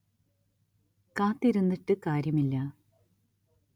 കാത്തിരുന്നിട്ട് കാര്യമില്ല